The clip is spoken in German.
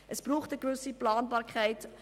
Es braucht eine gewisse Planbarkeit.